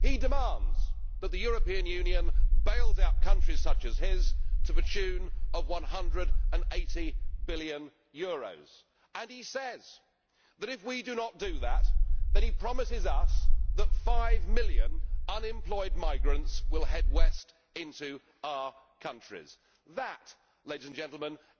He demands that the European Union bail out countries such as his to the tune of EUR 180 billion, and he says that, if we do not do that, he promises us that five million unemployed migrants will head west into our countries. That